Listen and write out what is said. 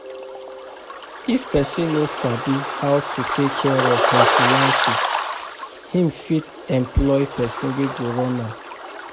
If person no sabi how to take care of him finances, him fit employ person wey go run am